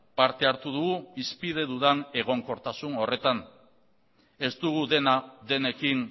parte hartu dugu hizpide dudan egonkortasun horretan ez dugu dena denekin